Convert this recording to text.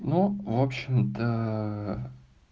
ну в общем-то